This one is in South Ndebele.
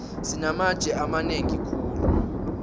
sinamatje amanengi khulu